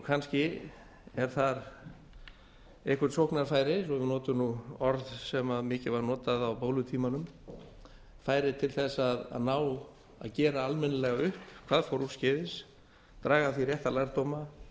kannski er þar eitthvert sóknarfæri svo við notum orð sem mikið var notað á bólutímanum færi til að gera almennilega upp hvað fór úrskeiðis draga af því rétta lærdóma